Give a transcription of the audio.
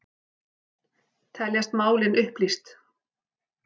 Teljast málin upplýst